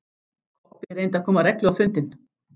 Kobbi reyndi að koma reglu á fundinn.